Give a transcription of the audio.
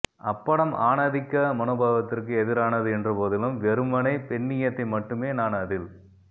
அப்படம் ஆணாதிக்க மனோபாவத்திற்கு எதிரானது என்றபோதிலும் வெறுமனே பெண்ணியத்தை மட்டுமே நான் அதில்